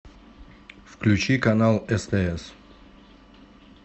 включи канал стс